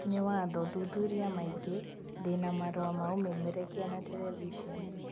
Nĩ watho, thuthuria maingĩ ndĩna marũa ma ũmemerekia na terebiceni